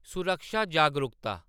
सुरक्षा जागरूकता